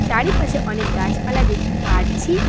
চারিপাশে অনেক গাছপালা দেখতে পারছি।